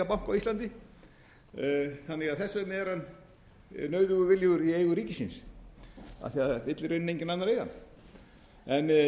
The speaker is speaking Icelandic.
banka á íslandi þannig að þess vegna er hann nauðugur viljugur í eigu ríkisins af því að það vill í rauninni enginn annar eiga hann en